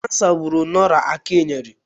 Kansa gburu Dora Akunyili.